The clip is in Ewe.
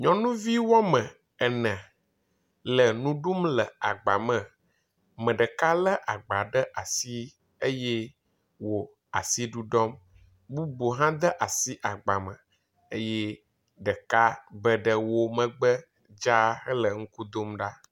Nyɔnu wome ene le nu ɖum le agba me. Ame ɖeka lé agba ɖe asi eye wo asi ɖuɖɔm. Bubu hã de asi agba me eye ɖeka be ɖe wo megbe dzaa hele ŋku dom ɖa.